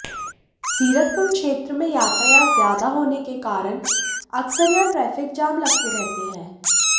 ज़ीरकपुर क्षेत्र में यातायात ज़्यादा होने के कारण अक्सर यहां ट्रैफ़िक जाम लगते रहते हैं